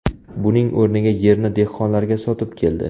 Buning o‘rniga yerni dehqonlarga sotib keldi.